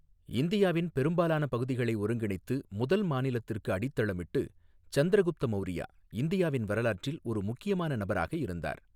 இந்தியாவின் பெரும்பாலான பகுதிகளை ஒருங்கிணைத்து முதல் மாநிலத்திற்கு அடித்தளமிட்டு, சந்திரகுப்த மவுரியா இந்தியாவின் வரலாற்றில் ஒரு முக்கியமான நபராக இருந்தார்.